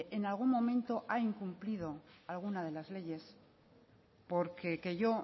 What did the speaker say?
en algún momento ha incumplido alguna de las leyes porque que yo